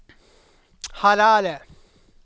Harare